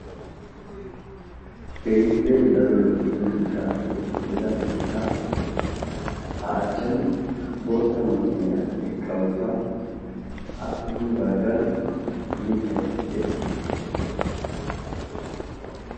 keehippe daro lo"iya shuchcha keetta kareni daroppe lo"iya bootta kaame eqqi uttassi ya bagarakka mittay de"eessi.